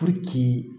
Puruke